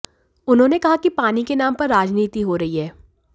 उन्होंने कहा कि पानी के नाम पर राजनीति हो रही है